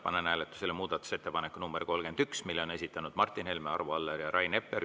Panen hääletusele muudatusettepaneku nr 31, mille on esitanud Martin Helme, Arvo Aller ja Rain Epler.